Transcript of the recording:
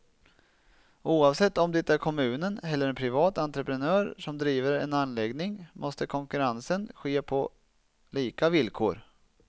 Oavsett om det är kommunen eller en privat entreprenör som driver en anläggning måste konkurrensen ske på lika villkor.